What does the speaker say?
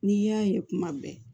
N'i y'a ye kuma bɛɛ